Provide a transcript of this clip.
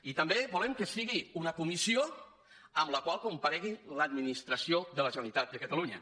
i també volem que sigui una comissió en la qual comparegui l’administració de la generalitat de catalunya